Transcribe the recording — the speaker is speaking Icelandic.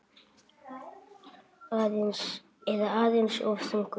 Eða aðeins of þungur?